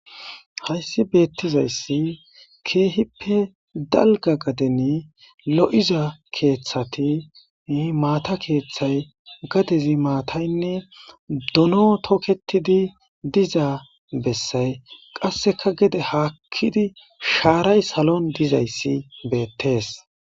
Hayssi beettizayssi keehippe dalgga gadeni lo'iza keeththati maata keeththay gadezi maataynne dono toketidi dizaa bessay qasseka gede haakkidi shaaray salon dizayssi beettees.